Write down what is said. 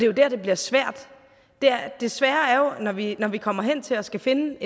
jo der det bliver svært det svære er når vi når vi kommer hen til at skulle finde